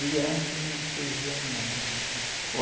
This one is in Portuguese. De antes não servia nada, nada